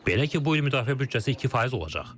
Belə ki, bu il müdafiə büdcəsi 2% olacaq.